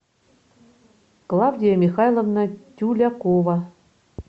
клавдия михайловна тюлякова